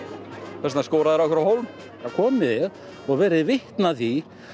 þess vegna skora þær okkur á hólm komið og verið vitni að því